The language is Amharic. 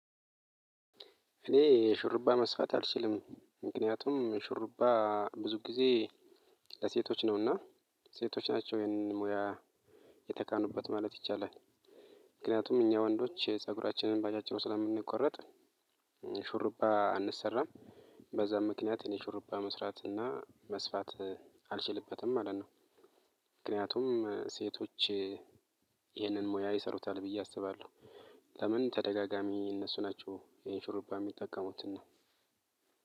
እኔ ሹርባ መስፋት አልችልም ምክንያቱም ሹርባ ብዙ ጊዜ ለሴቶች ነውና ሴቶች ናቸው ይህንን ሙያ የተካኑበት ማለት ይቻላል። ምክንያቱም እኛ ወንዶች ፀጉራችንን ባጫጭሩ ስለምንቆረጥ ሹርባ አንሰራም። በዛ ምክንያት እኔ ሹርባ መስራት እና መስፋት አልችልበትም ማለት ነው። ምክንያቱም ሴቶች ይህንን ሙያ ይሰሩታል ብዬ አስባለሁ። ለምን ተደጋጋሚ እነሱ ናቸው ይሄን ሹርባ የሚጠቀሙትና